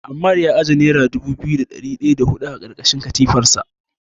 Ammar ya ajiye nera dubu biyu da ɗari ɗaya da huɗu a ƙarƙashin katifarsa.